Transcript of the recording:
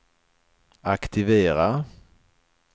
aktivera